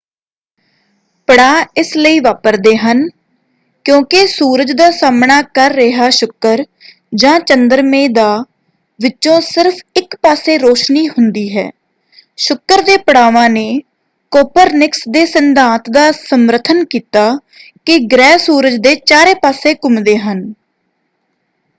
ਪੜਾਅ ਇਸ ਲਈ ਵਾਪਰਦੇ ਹਨ ਕਿਉਂਕਿ ਸੂਰਜ ਦਾ ਸਾਹਮਣਾ ਕਰ ਰਿਹਾ ਸ਼ੁਕਰ ਜਾਂ ਚੰਦਰਮੇ ਦਾ ਵਿਚੋਂ ਸਿਰਫ਼ ਇਕ ਪਾਸੇ ਰੌਸ਼ਨੀ ਹੁੰਦੀ ਹੈ। ਸ਼ੁਕਰ ਦੇ ਪੜਾਵਾਂ ਨੇ ਕੋਪਰਨਿਕਸ ਦੇ ਸਿਧਾਂਤ ਦਾ ਸਮਰਥਨ ਕੀਤਾ ਕਿ ਗ੍ਰਹਿ ਸੂਰਜ ਦੇ ਚਾਰੇ ਪਾਸੇ ਘੁੰਮਦੇ ਹਨ।